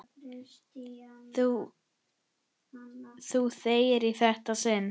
Þú þegir í þetta sinn!